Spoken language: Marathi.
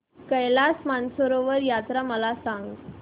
कैलास मानसरोवर यात्रा मला सांग